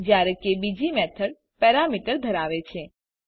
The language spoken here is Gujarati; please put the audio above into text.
જયારે કે બીજી મેથડ પેરામીટર ધરાવે છે